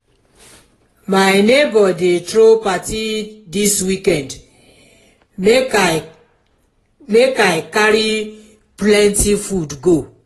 my neighbor dey throw party dis weekend make i make i carry plenty food go.